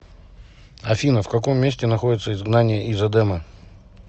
афина в каком месте находится изгнание из эдема